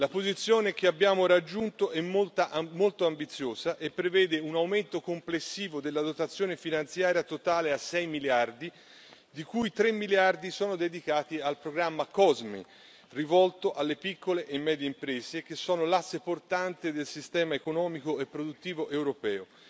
La posizione che abbiamo raggiunto è molto ambiziosa e prevede un aumento complessivo della dotazione finanziaria totale a 6 miliardi, di cui 3 miliardi sono dedicati al programma COSME, rivolto alle piccole e medie imprese, che sono l'asse portante del sistema economico e produttivo europeo.